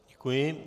Děkuji.